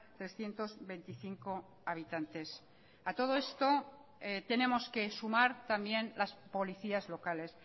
trescientos veinticinco habitantes a todo esto tenemos que sumar también las policías locales